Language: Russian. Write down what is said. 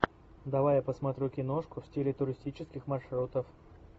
давай я посмотрю киношку в стиле туристических маршрутов